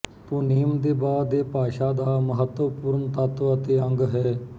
ਧੁਨੀਮ ਦੇ ਬਾਅਦ ਇਹ ਭਾਸ਼ਾ ਦਾ ਮਹੱਤਵਪੂਰਨ ਤੱਤ ਅਤੇ ਅੰਗ ਹੈ